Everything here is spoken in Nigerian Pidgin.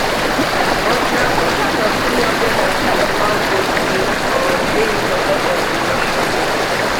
but na total of three hundred and thirty-one votes bin um dey in support of di motion